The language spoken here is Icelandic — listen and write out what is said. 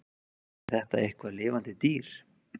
Er þetta eitthvað lifandi dýr?